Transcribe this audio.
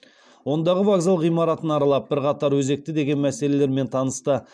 ондағы вокзал ғимаратын аралап бірқатар өзекті деген мәселелерімен танысты